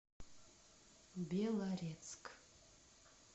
белорецк